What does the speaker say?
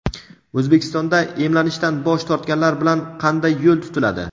O‘zbekistonda emlanishdan bosh tortganlar bilan qanday yo‘l tutiladi?.